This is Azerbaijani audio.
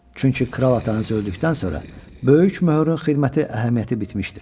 Çünki kral atanız öldükdən sonra böyük möhürün xidməti əhəmiyyəti bitmişdir.